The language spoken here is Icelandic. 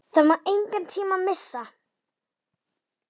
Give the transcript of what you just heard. Það má engan tíma missa!